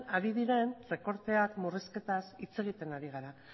ari diren murrizketaz hitz egiten ari gara